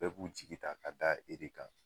Bɛɛ b'u sigi ta ka da e de kan.